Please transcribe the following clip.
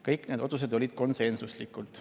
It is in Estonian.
Kõik need otsused olid konsensuslikud.